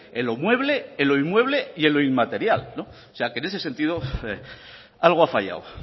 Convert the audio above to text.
en lo mueble en lo inmueble y en lo inmaterial o sea que en ese sentido algo ha fallado